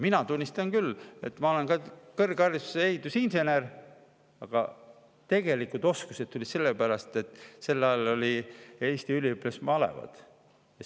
Mina tunnistan, et ma olen kõrgharidusega ehitusinsener, aga tegelikud oskused tulid selle pärast, et sel ajal olid Eesti üliõpilasmalevad.